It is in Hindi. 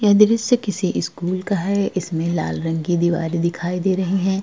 यह दृश्य किसी स्कूल का है। इसमें लाल रंग की दीवारें दिखाई दे रही हैं।